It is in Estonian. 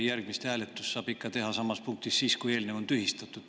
Järgmist hääletust saab ikka teha samas punktis siis, kui eelnev on tühistatud.